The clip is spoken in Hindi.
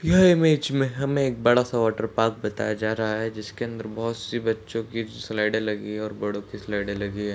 यह इमेज में हमें बड़ा सा वाटर पार्क बताया जा रहा है जिसके अंदर बोहोत सी बच्चो की स्लाइडे लगी हुई हैं और बड़ो की स्लाइडे लगी हुई हैं।